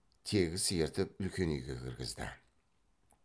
тегіс ертіп үлкен үйге кіргізді